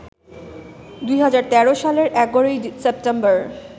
২০১৩ সালের ১১ সেপ্টেম্বর